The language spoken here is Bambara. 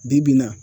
Bi bi in na